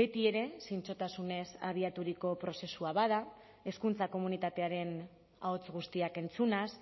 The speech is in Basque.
betiere zintzotasunez abiaturiko prozesua bada hezkuntza komunitatearen ahots guztiak entzunaz